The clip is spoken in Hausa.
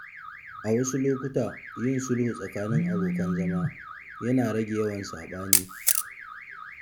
A wasu lokuta, yin sulhu tsakanin abokan zama yana rage yawan saɓani.